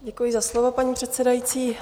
Děkuji za slovo, paní předsedající.